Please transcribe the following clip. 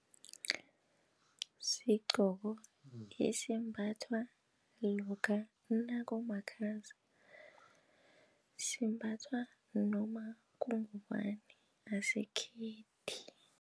Sigqoko esimbathwa lokha nakumakhaza simbathwa noma kungubana asikhethi.